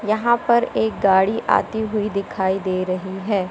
यहां पर एक गाड़ी आती हुई दिखाई दे रही है।